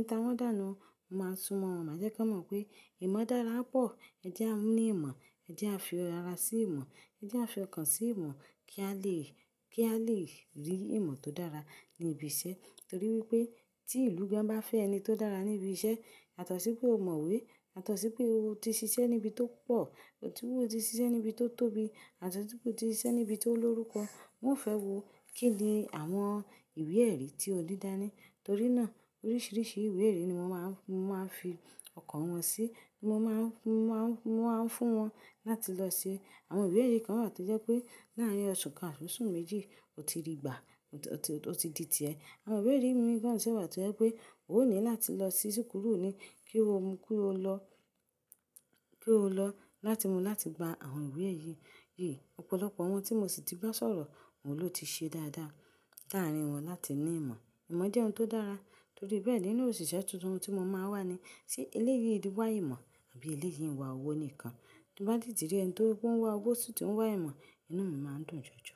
n ta wọ́n dànù. Mo máa ń súnmọ́ wọn, máa jẹ́ kí wọn mọ̀ pé ìmọ̀ dára pọ̀. Ẹ jẹ́ a ní ìmọ̀, ẹ jẹ́ a fi ara sí ìmọ̀, ẹ jẹ́ a fi ọkàn sí ìmọ̀ kí á lè, kí a lè rí ìmọ̀ tó dára ní ibiṣẹ́. Torí wípé tí ìlú gan bá fẹ́ ẹni tí ó dára ní ibi iṣẹ́, yàtọ̀sí pé ó mọ̀wé, yàtọ̀sí pé ó ti ṣiṣẹ́ níbi tó pọ̀, yàtọ̀sí pé ó ti ṣiṣẹ́ níbi tó tóbi, yàtọ̀sí pé ó ti ṣiṣẹ́ níbi tó lórúkọ. Wọn ò fẹ́ wo kí ni àwọn ìwé-ẹ̀rí tí o ní dáni. Torí náà, oríṣiríṣi ìwé-ẹ̀rí ni mo má ń, mo má ń fi ọkàn wọn sí, mo má ń, mo má ń, mo má ń fún wọn láti lọ ṣe. Àwọn ìwé-ẹ̀rí kan wà tó jẹ́ pé láàárín oṣù kan àti oṣù méjì, o ti rí gbà, o ti, o ti di ti ẹ. Àwọn ìwé-ẹ̀rí mìíràn sì wà tó jẹ́ pé o ní láti lọ sí sukuru ni kí o mú, kí o lọ, kí o lọ láti mú, láti gba àwọn ìwé-ẹ̀rí yìí. Ọ̀pọ̀lọpọ̀ àwọn tí mo sì ti bá sọ̀rọ̀, òun ló ti ṣe dáadáa láàárín wọn láti ní ìmọ̀. Ìmọ̀ jẹ́ ohun tó dára. Torí bẹ́ẹ̀, nínú òṣìṣẹ́ tuntun tí mo máa ń wá ni, ṣé eléyì wá ìmọ̀ àbí ilé yìí ń wá owó nìkan? Tí mo bá didí rí ẹni tó ó ń wá owó ó sì tún wá ìmọ̀, inú mi má ń dùn jọjọ.